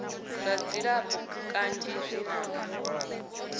zwa dzilafho kanzhi zwi na